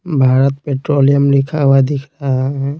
Bharat petroleum लिखा हुआ दिख रहा है।